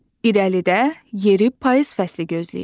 İrəlidə yeri payız fəsli gözləyir.